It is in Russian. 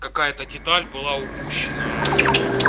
какая-то деталь была упущена